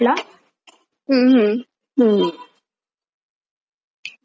हम्म भारी होता पिक्चर खूप मस्त होता.